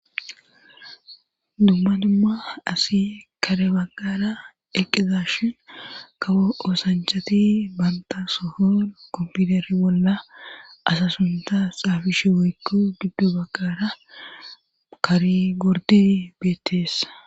dumma dumma asi kare baggara eqizashin kawo oosanchati banta sohon kompiteri bolla asa suntas xaafishe woykko giddo baggara karigorderi beetteesa